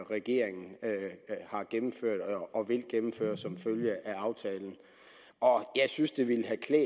regeringen har gennemført og vil gennemføre som følge af aftalen og jeg synes det vil have klædt